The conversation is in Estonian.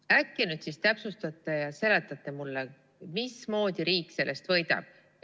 Äkki täpsustate ja seletate mulle, mismoodi riik sellest võidab?